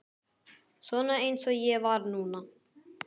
Svona eins og ég var núna.